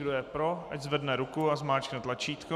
Kdo je pro, ať zvedne ruku a zmáčkne tlačítko.